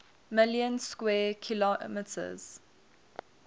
million square kilometers